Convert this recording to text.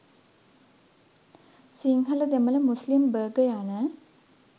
Sinhala Demala Muslim Burgher යන